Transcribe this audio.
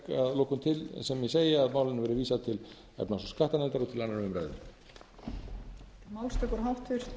lokum til sem ég segi að málinu verði vísað til efnahags og skattanefndar og til annarrar umræðu